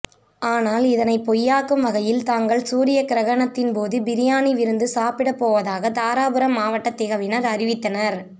ஆனால் இதனை பொய்யாக்கும் வகையில் தாங்கள் சூரிய கிரகணத்தின்போது பிரியாணி விருந்து சாப்பிட போவதாக தாராபுரம் மாவட்ட திகவினர் அறிவித்தனர்